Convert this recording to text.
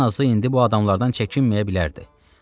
Ən azı indi bu adamlardan çəkinməyə bilərdi.